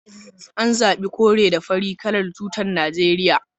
An zabi kore da fari kalar tutar Najeriya